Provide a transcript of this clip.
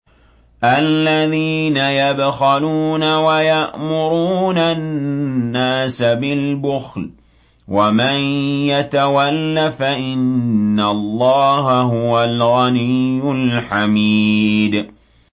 الَّذِينَ يَبْخَلُونَ وَيَأْمُرُونَ النَّاسَ بِالْبُخْلِ ۗ وَمَن يَتَوَلَّ فَإِنَّ اللَّهَ هُوَ الْغَنِيُّ الْحَمِيدُ